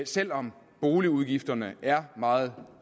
selv om boligudgifterne er meget